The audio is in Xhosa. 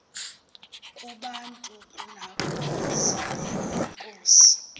kubantu nakwezinye iinkosi